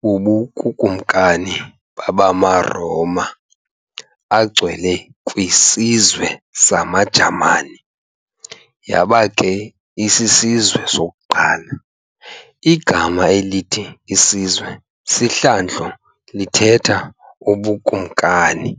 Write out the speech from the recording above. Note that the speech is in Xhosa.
bubuKukumkani babaRoma aNgcwele kwisiZwe samaJamani, yaba ke 'isisizwe' sokuqala, igama elithi 'isizwe' sihlandlo lithetha 'ubuKumkani'.